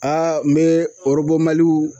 n be Mali